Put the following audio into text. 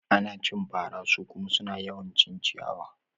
Ana cin fara su kuma suna yawan cin ciyawa